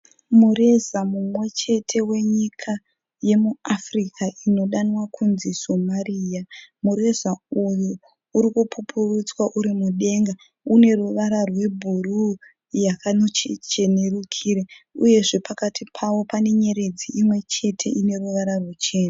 Mureza mumwe wenyika yemuAfrica inodanwa kunzi Somariya. Mureza uyu uri kupupurutswa uri mudenga. Une ruvara rwebhuruu yakanochenerukire uyezve pakati pawo pane nyeredzi imwechete ine ruvara ruchena.